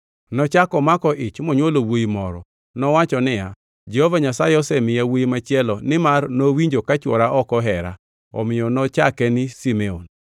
Nochako omako ich, monywolo wuowi moro. Nowacho niya, “Jehova Nyasaye osemiya wuowi machielo nimar nowinjo ka chwora ok ohera.” Omiyo nochake ni Simeon. + 29:33 Simeon gi dho jo-Hibrania en Nyasaye mawinjo ywak joge.